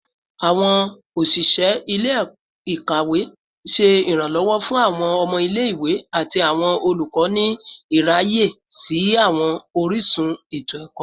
Awọn oṣiṣẹ ile-ikawe ṣe iranlọwọ fun awọn ọmọ ile-iwe ati awọn olukọ ni iraye si awọn orisun eto-ẹkọ